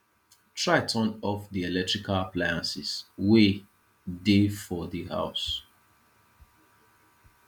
try turn off di electrical appliances wey de for di house